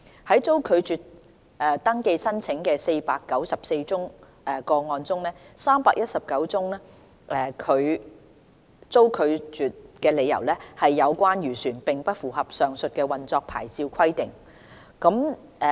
在遭拒絕登記申請的494宗個案中 ，319 宗被拒的理由是有關漁船並不符合上述的運作牌照規定。